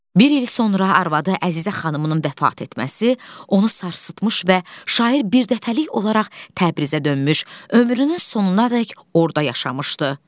Bir il sonra arvadı Əzizə xanımının vəfat etməsi onu sarsıtmış və şair birdəfəlik olaraq Təbrizə dönmüş, ömrünün sonunadək orda yaşamışdı.